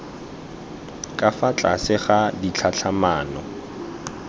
ka fa tlase ga ditlhatlhamano